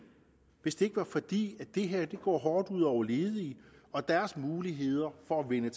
hvis det ikke var fordi det her går hårdt ud over ledige og deres muligheder for at vende